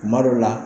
Kuma dɔw la